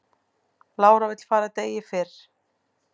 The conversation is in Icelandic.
Lára vill fara degi fyrr